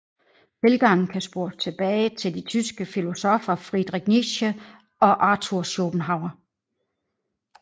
Tilgangen kan spores tilbage til de tyske filosoffer Friedrich Nietzsche og Arthur Schopenhauer